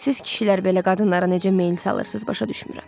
Siz kişilər belə qadınlara necə meyl salırsız, başa düşmürəm.